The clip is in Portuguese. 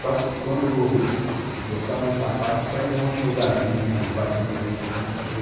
Só quando botavam sapato pra ir num outro lugarzinho, assim, num parque de diversões, coisa.